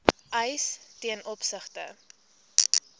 eis ten opsigte